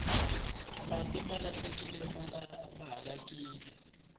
mati mahalakile ma halakile